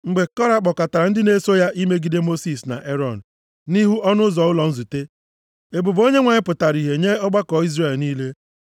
Mgbe Kora kpọkọtara ndị na-eso ya imegide Mosis na Erọn nʼihu ọnụ ụzọ ụlọ nzute, ebube Onyenwe anyị pụtara ihe nye ọgbakọ Izrel niile.